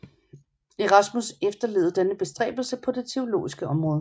Erasmus efterlevede denne bestræbelse på det teologiske område